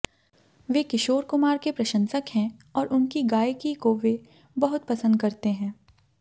वे किशोर कुमार के प्रशंसक हैं और उनकी गायकी को वे बहुत पसंद करते हैं